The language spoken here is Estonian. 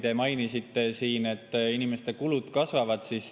Te mainisite, et inimeste kulud kasvavad.